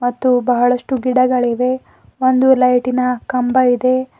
ಮತ್ತು ಬಹಳಷ್ಟು ಗಿಡಗಳಿವೆ ಒಂದು ಲೈಟಿನ ಕಂಬ ಇದೆ.